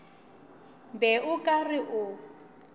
be o ka re o